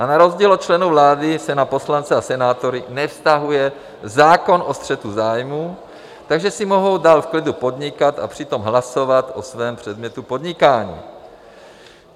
A na rozdíl od členů vlády se na poslance a senátory nevztahuje zákon o střetu zájmů, takže si mohou dál v klidu podnikat a přitom hlasovat o svém předmětu podnikání.